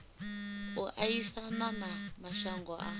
u aisana na mashango a